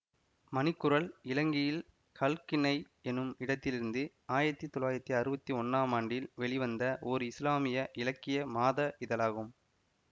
மணிக்குரல் இலங்கையில் கல்ஹின்னை எனும் இடத்திலிருந்து ஆயிரத்தி தொள்ளாயிரத்தி அறுவத்தி ஒன்னாம் ஆண்டில் வெளிவந்த ஓர் இசுலாமிய இலக்கிய மாத இதழாகும்